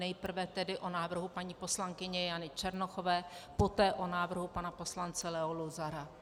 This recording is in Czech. Nejprve tedy o návrhu paní poslankyně Jany Černochové, poté o návrhu pana poslance Leo Luzara.